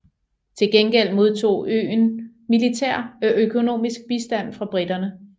Til gengæld modtog øen militær og økonomisk bistand fra briterne